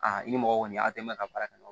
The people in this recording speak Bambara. i ni mɔgɔ kɔni a tɛ mɛn ka baara kɛ